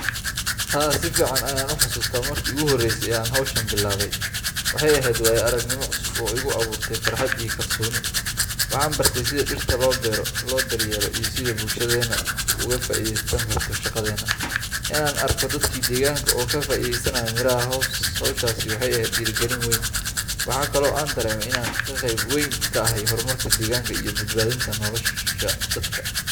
Haa, si fiican ayaan u xasuustaa markii ugu horreysay ee aan hawshan bilaabay. Waxay ahayd waayo aragnimo cusub oo igu abuurtay farxad iyo kalsooni. Waxaan bartay sida dhirta loo beero, loo daryeelo, iyo sida ay bulshadeena uga faa’iidaysan karto shaqadeena. In aan arko dadkii deegaanka oo ka faa’iideysanaya miraha hawshaasi waxay ahayd dhiirigelin weyn. Waxa kale oo aan dareemay in aan qayb weyn ka ahay horumarka deegaanka iyo badbaadinta nolosha dadka.